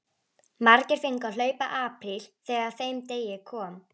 Margir fengu að hlaupa apríl þegar að þeim degi kom.